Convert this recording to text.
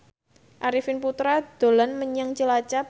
Arifin Putra dolan menyang Cilacap